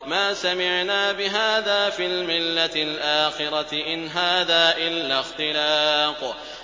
مَا سَمِعْنَا بِهَٰذَا فِي الْمِلَّةِ الْآخِرَةِ إِنْ هَٰذَا إِلَّا اخْتِلَاقٌ